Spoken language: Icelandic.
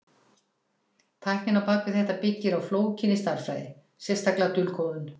Tæknin á bak við þetta byggir á flókinni stærðfræði, sérstaklega dulkóðun.